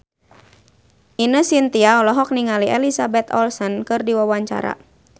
Ine Shintya olohok ningali Elizabeth Olsen keur diwawancara